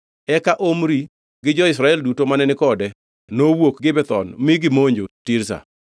Eka Omri gi jo-Israel duto mane ni kode nowuok Gibethon mi gimonjo Tirza.